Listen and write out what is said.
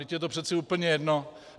Vždyť je to přece úplně jedno.